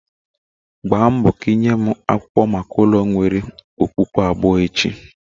Mgbambo ka ịnye m akwụkwọ maka ụlọ nwere okpukpu abụọ echi